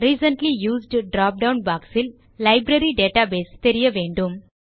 recently used drop down box இல் நம் library database தெரியவேண்டும்